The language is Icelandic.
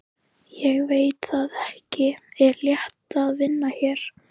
Ég veit það ekki Er það léttir að vinna hér?